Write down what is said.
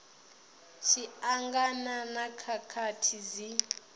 tshi angana na khakhathi dzi